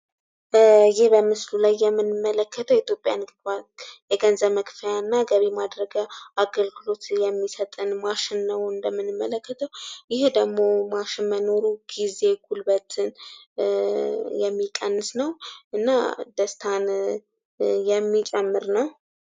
ይህ በምስሉ ላይ የምንመለከተው የኢትዮጵያ ንግድ ባንክ የገንዘብ መክፈያና ገቢ ማድረጊያ አገልግሎት የሚሰጠን ማሽን ነው እንደምንመለከተው ። ይህ ደግሞ ማሽን መኖሩ ጊዜ እና ጉልበትን የሚቀንስ ነው። እና ደስታን የሚጨምር ነው ።